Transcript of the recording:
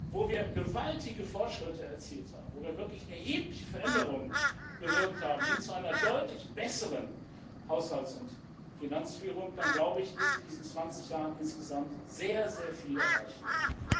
wo wir gewaltige Fortschritte erzielt haben, wo wir wirklich erhebliche Veränderungen bewirkt haben hin zu einer deutlich besseren Haushalts und Finanzführung, dann, glaube ich, ist in diesen 20 Jahren insgesamt sehr, sehr viel erreicht worden.